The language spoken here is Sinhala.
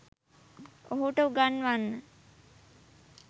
ඔහුට උගන්වන්න.